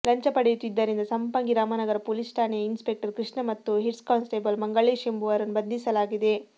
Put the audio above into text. ಲಂಚ ಪಡೆಯುತ್ತಿದ್ದರಿಂದ ಸಂಪಂಗಿ ರಾಮನಗರ ಪೊಲೀಸ್ ಠಾಣೆಯ ಇನ್ಸ್ಪೆಕ್ಟರ್ ಕೃಷ್ಣ ಮತ್ತು ಹೆಡ್ಕಾನ್ಸ್ಟೇಬಲ್ ಮಂಗಳೇಶ್ ಎಂಬುವರನ್ನು ಬಂಧಿಸಲಾಗಿದೆ